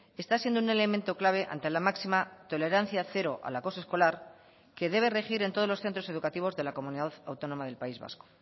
está siendo un elemento clave ante la máxima tolerancia cero al acoso escolar que debe regir en todos los centros educativos de la comunidad autónoma del país vasco